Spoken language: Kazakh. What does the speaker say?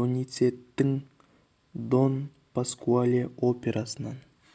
доницеттидің дон паскуале операсынан